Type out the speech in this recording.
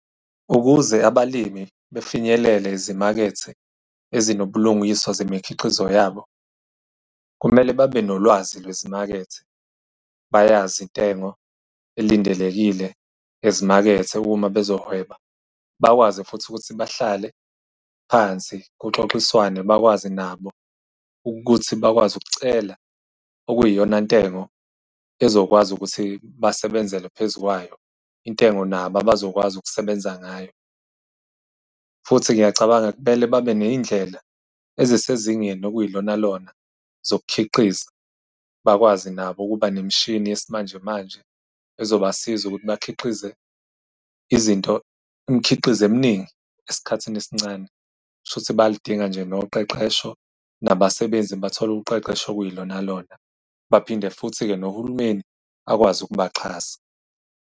Ukuze abalimi befinyelele ezimakethe ezinobulungiswa zemikhiqizo yabo, kumele babe nolwazi lwezimakethe, bayazi intengo elindelekile ezimakethe uma bezohweba. Bakwazi futhi ukuthi bahlale phansi kuxoxiswane, bakwazi nabo ukuthi bakwazi ukucela okuyiyona ntengo ezokwazi ukuthi basebenzele phezukwayo, intengo nabo abazokwazi ukusebenza ngayo. Futhi ngiyacabanga kumele babe ney'ndlela ezisezingeni okuyilonalona zokukhiqiza, bakwazi nabo ukuba nemishini yesimanjemanje ezoba siza ukuthi bakhiqize izinto, imikhiqizo eminingi esikhathini esincane. Kushuthi bayalidinga nje noqeqesho, nabasebenzi bathole uqeqesho okuyilonalona. Baphinde futhi-ke nohulumeni akwazi ukubaxhasa.